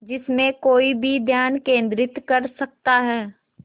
जिसमें कोई भी ध्यान केंद्रित कर सकता है